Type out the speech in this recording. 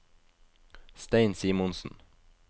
Stein Simonsen